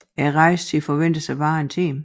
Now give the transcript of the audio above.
Rejsetiden forventes at være på en time